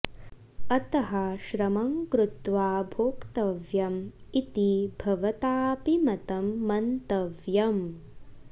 अतः श्रमं कृत्वा भोक्तव्यम् इति भवताऽपि मतं मन्तव्यम्